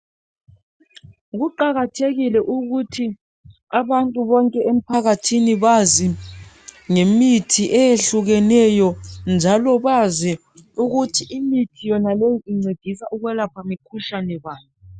Kuqakathekile ukuthi abantu bonke emphakathini bazi ngemithi eyehlukeneyo .Njalo bazi ukuthi imithi yonaleyi incedisa ukwelapha imkhuhlane bani .